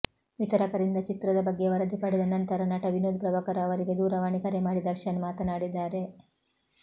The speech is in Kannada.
ವಿತರಕರಿಂದ ಚಿತ್ರದ ಬಗ್ಗೆ ವರದಿ ಪಡೆದ ನಂತರ ನಟ ವಿನೋದ್ ಪ್ರಭಾಕರ್ ಅವರಿಗೆ ದೂರವಾಣಿ ಕರೆ ಮಾಡಿ ದರ್ಶನ್ ಮಾತನಾಡಿದ್ದಾರೆ